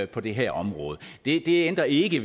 på det her område det ændrer ikke